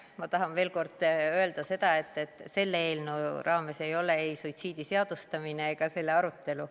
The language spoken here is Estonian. Ma tahan veel kord öelda seda, et selle eelnõu raames ei ole ei suitsiidi seadustamine ega selle arutelu.